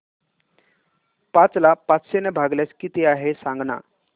पाच ला पाचशे ने भागल्यास किती आहे सांगना